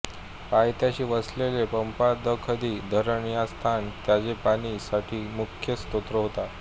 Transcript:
पायथ्याशी वसलेले पापाद्खंदी धरण हा स्थान ताजे पाणी साठी मुख्य स्त्रोत होता